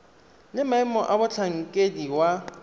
le maemo a motlhankedi wa